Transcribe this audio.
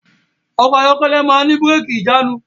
Ọkọ̀ ayọ́kẹ́lẹ̀ máa ń ní bírẹ́kì/ìjánu.